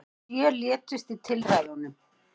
Sjö létust í tilræðunum